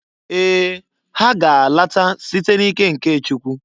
Ee! Ha ga-alata site n'ike nke Chukwu.